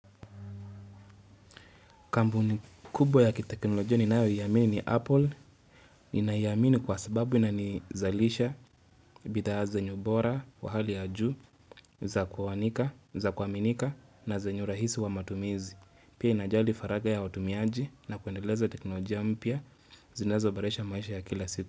Kampuni kubwa ya kiteknolojia ninayo iamini ni Apple. Ninaiamini kwa sababu na nizalisha, bithaa ya zenye ubora, wa hali ya juu, za kwa wanika, za kwa minika na zenyu urahisi wa matumizi. Pia inajali faraga ya watumiaji na kuendeleza teknolojia mpya, zinazo boresha maisha ya kila siku.